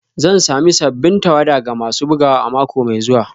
Zan sami sabbin tawada ga masu bugawa a mako mai zuwa